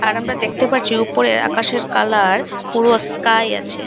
আর আমরা দেখতে পারছি উপরে আকাশের কালার পুরো স্কাই আছে।